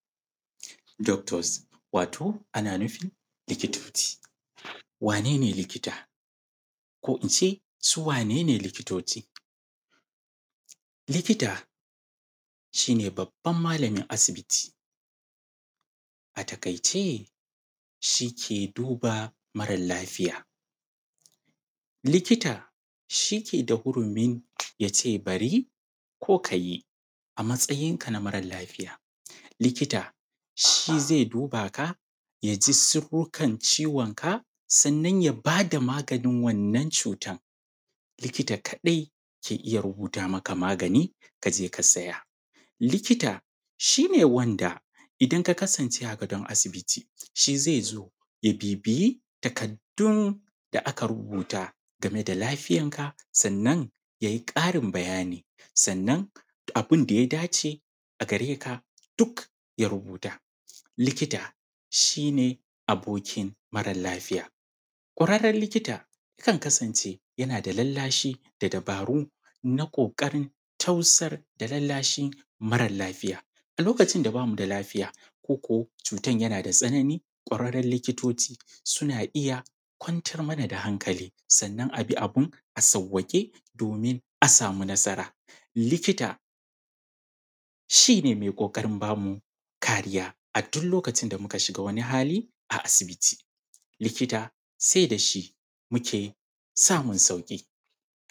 Doctors, wato ana nufin likitoci. Wane ne likita? Ko in ce, su wanene likitoci? Likita, shi ne babban malamin asibiti. A taƙaice, shi ke duba mara lafiya. Likita, shi ke da hurumin ya ce bari, ko ka yi, a matsayinka na mara lafiya. Likita, shi zai duba ka, ya ji siffukan ciwonka, sannan ya ba da maganin wannan cutan. Likita kaɗai ke iya rubuta maka magani ka je ka saya. Likita, shi ne wanda, idan ka kasance a gadon asibiti, shi zai zo ya bibiyi takardun da aka rubuta game da lafiyanka, sannan, yai ƙarin bayani, sannan abun da ya dace a gare ka, duk ya rubuta. Likita, shi ne abokin mara lafiya. Ƙwararren likita, kan kasance yana da lallashi da dabaru na ƙoƙarin tausar da lallashin mara lafiya. A lokacin da ba mu da lafiya, koko cutan yana da tsanani, ƙwararren likitoci suna iya kwantar mana da hankali, sannan a bi abun a sawwaƙe, domin a samu nasara. Likita, shi ne mai ƙoƙarin ba mu kariya a duk lokacin da muka shiga wani hali a asibiti. Likita, sai da shi muke samun saƙi.